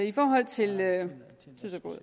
i forhold til